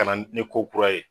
Ka na ni ko kura ye.